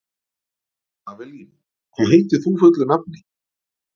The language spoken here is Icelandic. Avelín, hvað heitir þú fullu nafni?